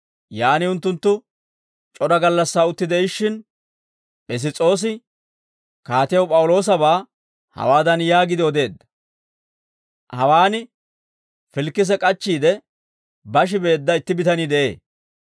Yaan unttunttu c'ora gallassaa utti de'ishshin, Piss's'oosi kaatiyaw P'awuloosabaa hawaadan yaagiide odeedda; «Hawaan Filikise k'achchiide bashi beedda itti bitanii de'ee.